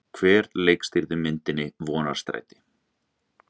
Hver leikstýrði myndinni Vonarstræti?